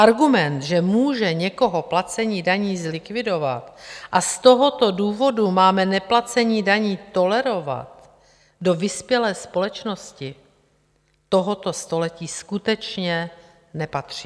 Argument, že může někoho placení daní zlikvidovat a z tohoto důvodu máme neplacení daní tolerovat, do vyspělé společnosti tohoto století skutečně nepatří.